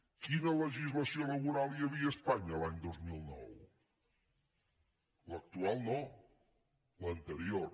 quina legislació laboral hi havia a espanya l’any dos mil nou l’actual no l’anterior